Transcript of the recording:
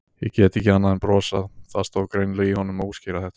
Ég gat ekki annað en brosað, það stóð greinilega í honum að útskýra þetta.